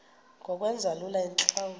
ngokwenza lula iintlawulo